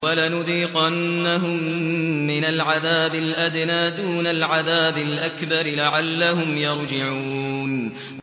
وَلَنُذِيقَنَّهُم مِّنَ الْعَذَابِ الْأَدْنَىٰ دُونَ الْعَذَابِ الْأَكْبَرِ لَعَلَّهُمْ يَرْجِعُونَ